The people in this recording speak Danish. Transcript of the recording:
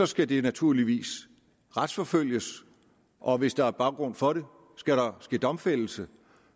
skal det naturligvis retsforfølges og hvis der er baggrund for det skal der ske domfældelse